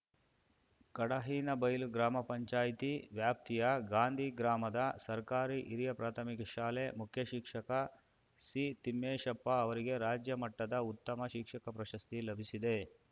ಕಡಹಿನಬೈಲು ಗ್ರಾಮ ಪಂಚಾಯಿತಿ ವ್ಯಾಪ್ತಿಯ ಗಾಂಧಿ ಗ್ರಾಮದ ಸರ್ಕಾರಿ ಹಿರಿಯ ಪ್ರಾಥಮಿಕ ಶಾಲೆ ಮುಖ್ಯಶಿಕ್ಷಕ ಸಿತಿಮ್ಮೇಶಪ್ಪ ಅವರಿಗೆ ರಾಜ್ಯ ಮಟ್ಟದ ಉತ್ತಮ ಶಿಕ್ಷಕ ಪ್ರಶಸ್ತಿ ಲಭಿಸಿದೆ